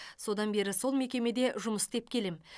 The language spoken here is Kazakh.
содан бері сол мекемеде жұмыс істеп келемін